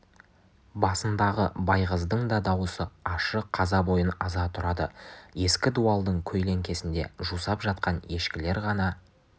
басындағы байғыздың да дауысы ащы қаза бойын аза тұрады ескі дуалдың көлеңкесінде жусап жатқан ешкілер ғана